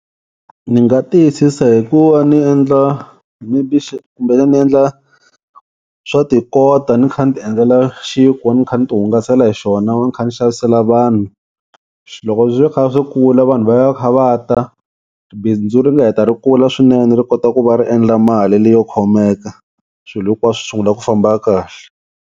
Ni nga tiyisisa hi ku va ni endla kumbe ni ni endla swa tikota ni kha ni ti endlela xinkwa ni kha ni ti hungasela hi xona ni kha ni xavisela vanhu. Loko swi kha swi kula vanhu va ya va kha va ta bindzu ri nga heta ri kula swinene ri kota ku va ri endla mali leyo khomeka swilo hinkwaswo swi sungula ku famba kahle.